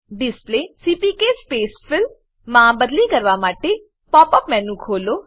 display CPK space fill માં બદલી કરવા માટે પોપ અપ મેનુ ખોલો